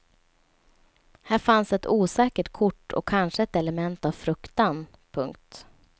Här fanns ett osäkert kort och kanske ett element av fruktan. punkt